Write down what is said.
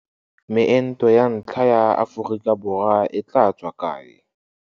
Meento ya ntlha ya Aforika Borwa e tla tswa kae?